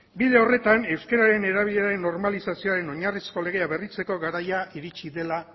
bide horretan euskararen erabileraren normalizazioren oinarrizko legea berritzeko garai iritzi dela